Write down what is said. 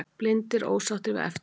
Blindir ósáttir við eftirlit